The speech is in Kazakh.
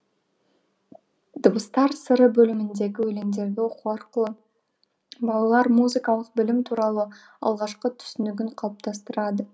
дыбыстар сыры бөліміндегі өлеңдерді оқу арқылы балалар музыкалық білім туралы алғашқы түсінігін қалыптастырады